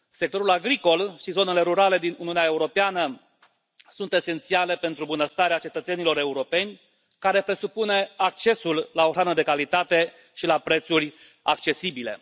Sectorul agricol și zonele rurale din Uniunea Europeană sunt esențiale pentru bunăstarea cetățenilor europeni, care presupune accesul la o hrană de calitate și la prețuri accesibile.